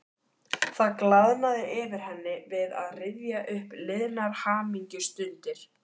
Það glaðnaði yfir henni við að rifja upp liðnar hamingjustundir.